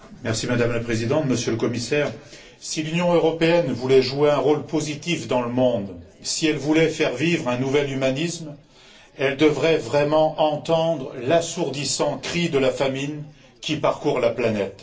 Madame la Présidente, Monsieur le Commissaire, si l'Union européenne voulait jouer un rôle positif dans le monde, si elle voulait faire vivre un nouvel humanisme, elle devrait vraiment entendre l'assourdissant cri de la famine qui parcourt la planète.